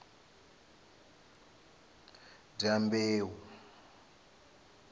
dyambeu